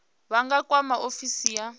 vha nga kwama ofisi ya